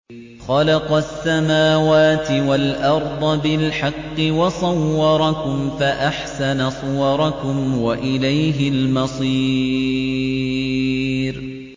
خَلَقَ السَّمَاوَاتِ وَالْأَرْضَ بِالْحَقِّ وَصَوَّرَكُمْ فَأَحْسَنَ صُوَرَكُمْ ۖ وَإِلَيْهِ الْمَصِيرُ